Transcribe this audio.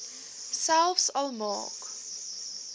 selfs al maak